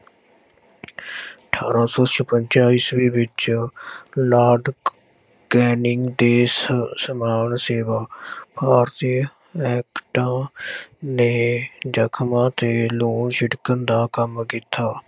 ਅਠਾਰਾਂ ਸੌ ਛਪੰਜਾ ਈਸਵੀ ਵਿੱਚ ਲਾਰਡ ਕੈਨਿੰਗ ਦੇਸ ਸਮਾਨ ਸੇਵਾ ਭਾਰਤੀ ਐਕਟਾਂ ਨੇ ਜਖ਼ਮਾਂ ਤੇ ਲੂੂਣ ਛਿੜਕਣ ਦਾ ਕੰਮ ਕੀਤਾ।